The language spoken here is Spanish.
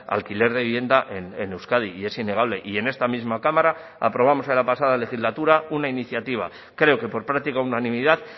a alquiler de vivienda en euskadi y es innegable y en esta misma cámara aprobamos en la pasada legislatura una iniciativa creo que por práctica unanimidad